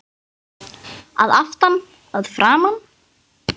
Að aftan, að framan?